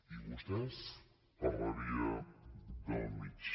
i vostès per la via del mig